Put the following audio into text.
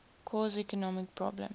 cause economic problems